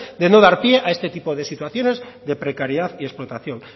de no dar pie a este tipo de situaciones de precariedad y explotación